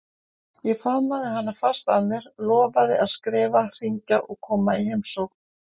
Ég faðmaði hana fast að mér, lofaði að skrifa, hringja og koma í heimsókn.